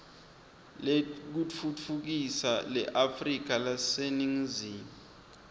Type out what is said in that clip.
lekutfutfukisa leafrika leseningizimu